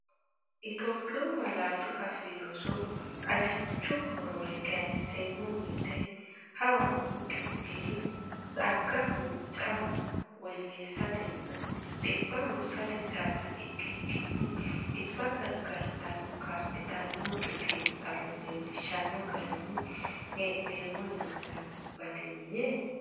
Itophiyu Malaatu Afii Roso Xagichu horore kayinseemmo wote hawa noonke ikkiri xagga huncuuc cama woyyeessatenna dhibba hursate calla ikkikkinni dhibba gargarateno kaa’litannonke, Xiinxallo leellishshanno garinni hee’noommo yannara batinye?